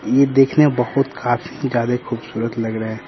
ये देखने बहुत काफी ज्यादा खूबसूरत लग रहे हैं।